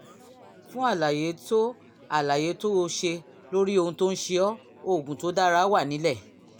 fún àlàyé tó àlàyé tó o ṣe lórí ohun tó ń ṣe ọ́ oògùn tó dára wà nílẹ̀